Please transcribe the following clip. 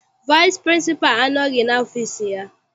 Vaịsị pịrịnsịpalụ anọghị n'ọfịịsi ya.